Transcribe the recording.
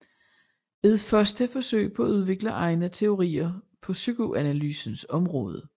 Et første forsøg på at udvikle egne teorier på psykoanalysens område